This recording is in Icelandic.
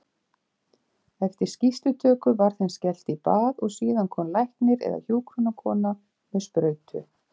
Eftir skýrslutöku var þeim skellt í bað og síðan kom læknir eða hjúkrunarkona með sprautu.